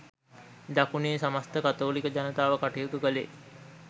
දකුණේ සමස්ත කතෝලික ජනතාව කටයුතු කළේ